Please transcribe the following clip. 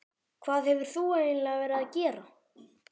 Hvað hefur þú eiginlega verið að gera?